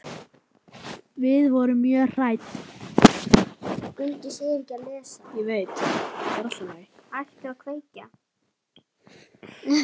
Við vorum mjög hrædd.